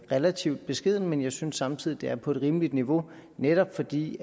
relativt beskedent men jeg synes samtidig den er på et rimeligt niveau netop fordi